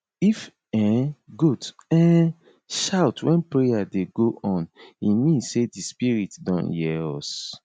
if um goat um shout wen prayer dey go on e mean say di spirit don hear us